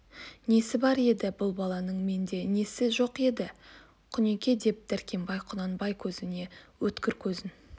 несі бар еді бұл баланың менде несі жоқ еді құнеке деп дәркембай құнанбай көзіне өткір көзін